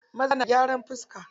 Maza na gyran fiska.